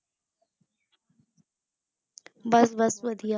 ਬਸ ਬਸ ਵਧੀਆ।